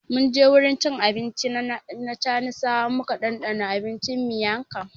Mun je wurin cin abinci na chanisawa muka dandana abincin Miang Kham